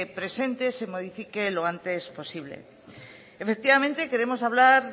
presente se modifique lo antes posible efectivamente queremos hablar